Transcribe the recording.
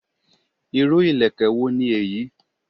Irú ìlẹ̀kẹ̀ wo ni eyi?